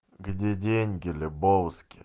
где деньги лебовски